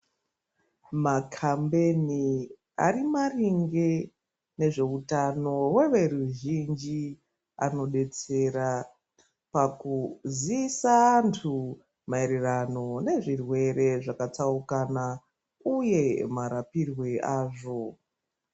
Makhambeni ari maringe nezveutano hweveruzhinji , anodetsera pakuziisa antu maererano nezvirwere zvakatsaukana, uye marapirwe azvo.